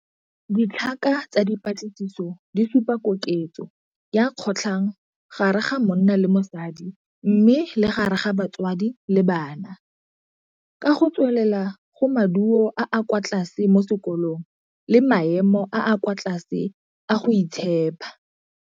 Ditlhaka tsa dipatlisiso di supa koketso ya kgotlhang gare ga monna le mosadi mme le gare ga batsadi le bana, ka go tswelela go maduo a a kwa tlase mo sekolong le maemo a a kwa tlase a go itshepha.